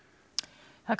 það er